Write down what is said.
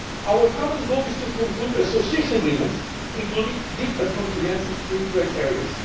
partners. Our common goal is to conclude association agreements, including Deep and Comprehensive Free